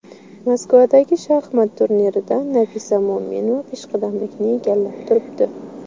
Moskvadagi shaxmat turnirida Nafisa Mo‘minova peshqadamlikni egallab turibdi.